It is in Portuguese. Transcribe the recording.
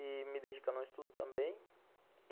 e me dedicar no estudo também.